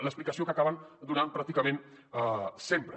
l’explicació que acaben donant pràcticament sempre